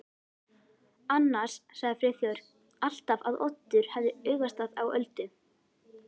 Annars sagði Friðþjófur alltaf að Oddur hefði augastað á Öldu.